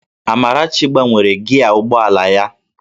Amarachi gbanwere gịaa ụgbọ ala ya